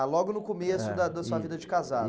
Ah, logo no começo, eh, da da sua vida de casado.